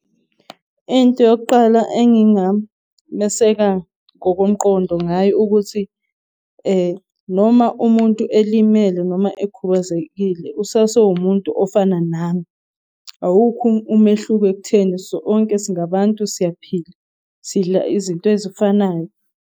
Into yokuqala engingameseka ngokomqondo ngayo, ukuthi noma umuntu elimele noma ekhubazekile, usase umuntu ofana nami. Awukho umehluko ekutheni sonke singabantu siyaphila sidla izinto ezifanayo.